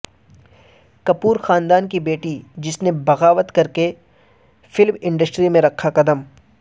کپور خاندان کی بیٹی جس نے بغاوت کرکے فلم انڈسٹری میں رکھا قدم